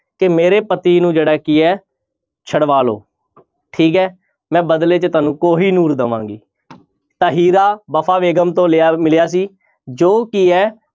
ਕਿ ਮੇਰੇ ਪਤੀ ਨੂੰ ਜਿਹੜਾ ਕੀ ਹੈ ਛਡਵਾ ਲਓ ਠੀਕ ਹੈ ਮੈਂ ਬਦਲੇ 'ਚ ਤੁਹਾਨੂੰ ਕੋਹੀਨੂਰ ਦੇਵਾਂਗੀ ਤਾਂ ਹੀਰਾ ਵਫ਼ਾ ਬੇਗ਼ਮ ਤੋਂ ਲਿਆ ਮਿਲਿਆ ਸੀ ਜੋ ਕੀ ਹੈ